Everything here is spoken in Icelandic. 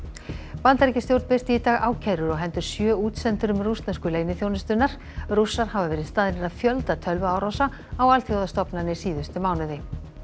Bandaríkjastjórn birti í dag ákærur á hendur sjö útsendurum rússnesku leyniþjónustunnar rússar hafa verið staðnir að fjölda tölvuárása á alþjóðastofnanir síðustu mánuði